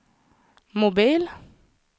mobil